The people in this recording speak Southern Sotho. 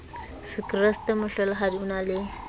sekreste mohlolohadi o na le